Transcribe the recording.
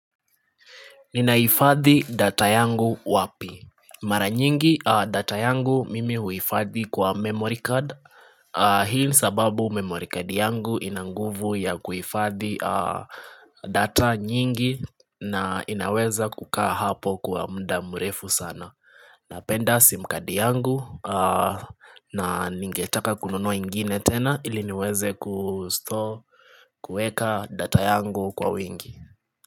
Ninahifadhi data yangu wapi? Mara nyingi data yangu mimi huifadhi kwa memory card Hii nisababu memory card yangu inanguvu ya kuhifadhi data nyingi na inaweza kukaa hapo kwa mda mrefu sana Napenda sim card yangu na ningetaka kununua ingine tena iliniweze kustore kuweka data yangu kwa wingi.